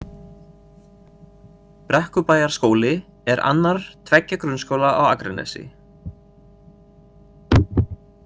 Brekkubæjarskóli er annar tveggja grunnskóla á Akranesi.